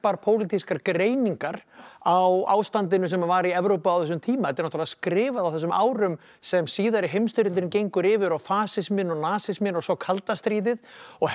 pólitískar greiningar á ástandinu sem var í Evrópu á þessum tíma þetta er náttúrulega skrifað á þessum árum sem síðari heimsstyrjöldin gengur yfir og fasisminn og nasisminn og svo kalda stríðið og